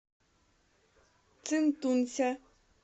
цинтунся